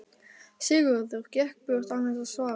Sigurður gekk burt án þess að svara.